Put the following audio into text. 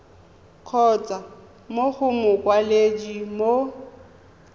kgotsa mo go mokwaledi mo